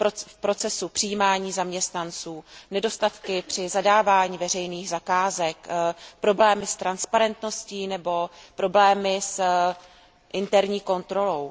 v procesu přijímání zaměstnanců, při zadávání veřejných zakázek, problémy s transparentností nebo problémy s interní kontrolou.